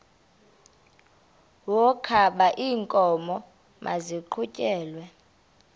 wokaba iinkomo maziqhutyelwe